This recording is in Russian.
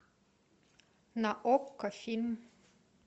на окко фильм